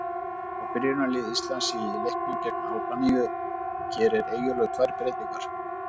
Frá byrjunarliði Íslands í leiknum gegn Albaníu gerir Eyjólfur tvær breytingar.